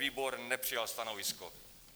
Výbor nepřijal stanovisko.